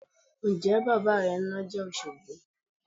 Ǹjẹ́ bàbà rẹ ń nájà Òṣogbo?